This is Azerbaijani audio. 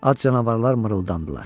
Ac canavarlar mırıldandılar.